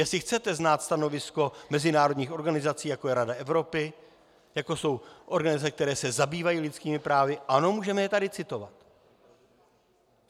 Jestli chcete znát stanovisko mezinárodních organizací, jako je Rada Evropy, jako jsou organizace, které se zabývají lidskými právy, ano, můžeme je tady citovat.